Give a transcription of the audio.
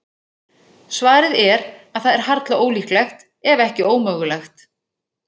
Svarið er að það er harla ólíklegt, ef ekki ómögulegt.